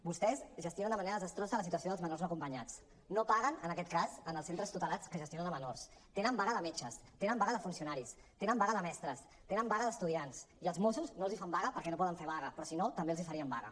vostès gestionen de manera desastrosa la situació dels menors no acompanyats no paguen en aquest cas als centres tutelats que gestionen menors tenen vaga de metges tenen vaga de funcionaris tenen vaga de mestres tenen vaga d’estudiants i els mossos no els fan vaga perquè no poden fer vaga però si no també els farien vaga